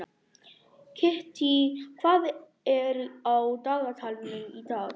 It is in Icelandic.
Kittý, hvað er á dagatalinu í dag?